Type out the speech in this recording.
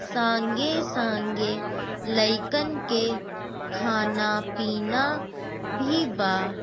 संगे-संगे लेकत लइकन के खाना पीना भी बा।